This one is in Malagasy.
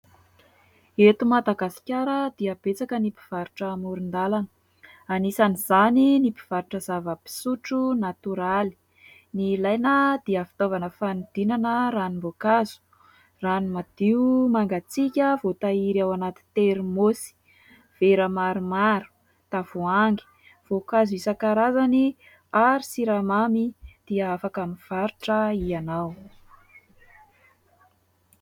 Eto Madagasikara dia betsaka ny mpivarotra amoron-dalana. Anisan'izany ny mpivarotra zava-pisotro natoraly. Ny ilaina dia fitaovana fanodinana ranom-boankazo, rano madio mangatsiaka voatahiry ao anaty termosy vera maromaro, tavoahangy, voankazo isan-karazany ary siramamy dia afaka mivarotra ianao.